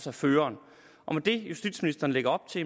er føreren og med det justitsministeren lægger op til